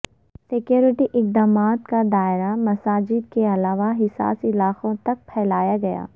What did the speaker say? security اقدامات کا دائرہ مساجد کے علاوہ حساس علاقوں تک پھیلایا گیا